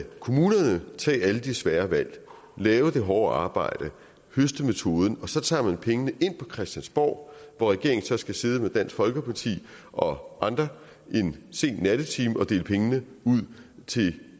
kommunerne tage alle de svære valg lave det hårde arbejde høste metoden og så tager man pengene ind på christiansborg hvor regeringen så skal sidde med dansk folkeparti og andre en sen nattetime og dele pengene ud til